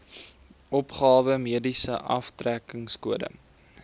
opgawe mediese aftrekkingskode